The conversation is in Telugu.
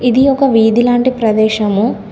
ఇది ఒక వీధి లాంటి ప్రదేశము